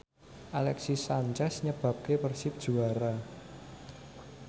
Alexis Sanchez nyebabke Persib juara